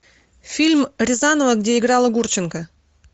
фильм рязанова где играла гурченко